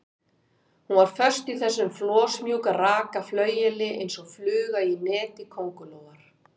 Hún var föst í þessu flosmjúka, raka flaueli eins og fluga í neti köngulóar.